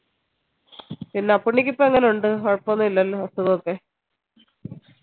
എല്ല പുള്ളിക്ക് ഇപ്പോ എങ്ങനെ ഉണ്ട് കുഴപ്പന്നുല്ലല്ലോ അസുഖോക്കെ